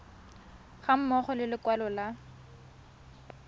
ga mmogo le lekwalo la